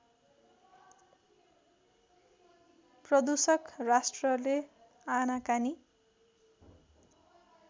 प्रदूषक राष्ट्रले आनाकानी